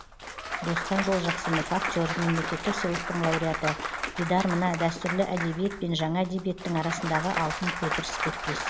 досқан жолжақсынов актер мемлекеттік сыйлықтың лауреаты дидар мына дәстүрлі әдебиет пен жаңа әдебиеттің арасындағы алтын көпір іспеттес